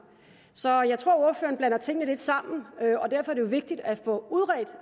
så jeg tror ordføreren blander tingene lidt sammen og derfor er det vigtigt at få udredt